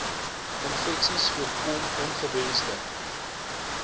infeksies voorkom ongewensde